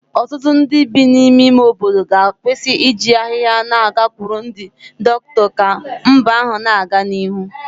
Ọtụtụ ndị bi n'ime ime obodo ga-akwụsị iji ahịhịa na-agakwuru ndị dọkịta ka mba ahụ na-aga n'ihu